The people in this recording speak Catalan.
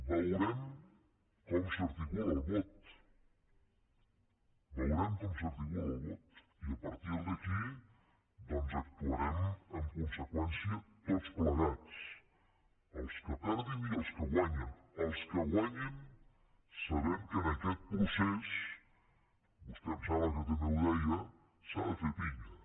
veurem com s’articula el vot veurem com s’articula el vot i a partir d’aquí doncs actuarem en conseqüència tots plegats els que perdin i els que guanyin els que guanyin sabent que en aquest procés vostè em sembla que també ho deia s’ha de fer pinya